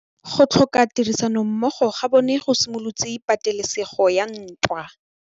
Go tlhoka tirsanommogo ga bone go simolotse patêlêsêgô ya ntwa.